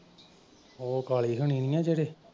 ਓਹ ਕਾਲੀ ਹੁਣੀ ਨਈਂ ਨਾ ਜਿਹੜੇ।